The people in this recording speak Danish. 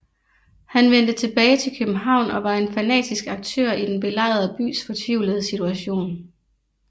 Han vendte tilbage til København og var en fanatisk aktør i den belejrede bys fortvivlede situation